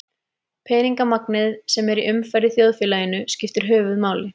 Peningamagnið sem er í umferð í þjóðfélaginu skiptir höfuðmáli.